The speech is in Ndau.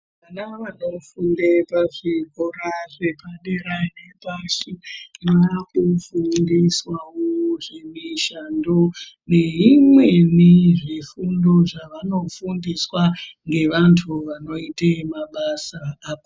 Vana vanofunda kuzvikora zvepadera Inoshandiswa inorapa fundo kufunda mishando Imweni zvifundo zvavanofundiswa nevandu vanoita zvemabasa.